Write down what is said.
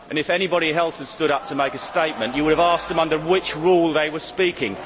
If anybody else had stood up to make a statement, you would have asked them under which Rule they were speaking.